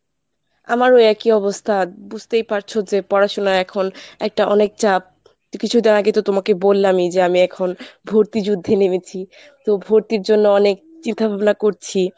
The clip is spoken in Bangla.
আমারও একই অবস্থা বুঝতেই পারছ যে পড়াশোনা এখন একটা অনেক চাপ তো কিছুদিন আগেই তো তোমাকে বললামই যে আমি এখন ভর্তি যুদ্ধে নেমেছি, তো ভর্তির জন্য অনেক চিন্তাভাবনা করছি।